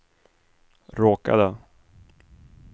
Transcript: råkade